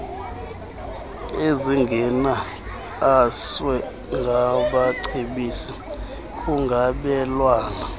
ezingeniaswe ngabacebisi kungabelwana